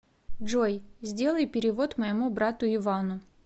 джой сделай перевод моему брату ивану